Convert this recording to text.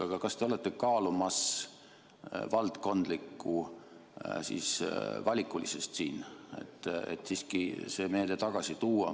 Aga kas te kaalute valdkondlikku valikulisust, et see meede siiski tagasi tuua?